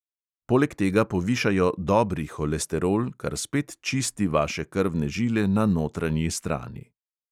Poleg tega povišajo "dobri" holesterol, kar spet čisti vaše krvne žile na notranji strani.